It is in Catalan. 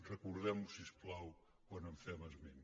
recordem ho si us plau quan en fem esment